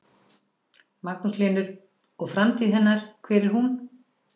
Magnús Hlynur: Og framtíð hennar, hver er hún?